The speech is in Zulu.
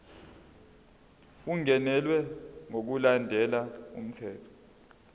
ungenelwe ngokulandela umthetho